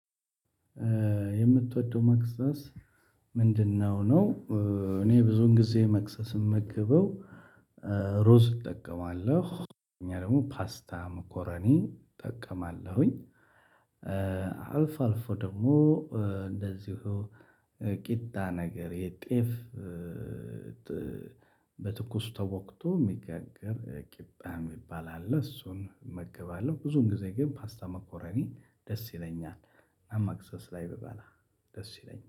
የምትወደው መክሰስ ምንድነው ነው? እኔ ብዙ ጊዜ መክሰስ የምመገበው። ሩዝ እጠቀማለሁ እና ደግሞ ፓስታ መኮረኒ እጠቀማለሁኝ። አልፎ አልፎ ደግሞ እንደዚሁ ቂጣ ነገር የጤፍ። በትኩስ ተቦክቶ የሚጋገር ቂጣ የሚባል አለ እሱን እመገባለሁ። ብዙን ጊዜ ግን ፓስታ መኮረኒ ደስ ይለኛል። መክሰስ ላይ ብበላ ደስ ይለኛል